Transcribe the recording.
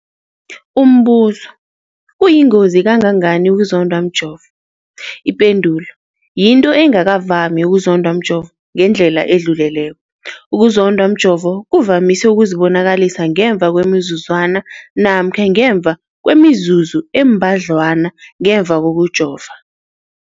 Umbuzo, kuyingozi kangangani ukuzondwa mjovo? Ipendulo, yinto engakavami ukuzondwa mjovo ngendlela edluleleko. Ukuzondwa mjovo kuvamise ukuzibonakalisa ngemva kwemizuzwana namkha ngemva kwemizuzu embadlwana ngemva kokujova.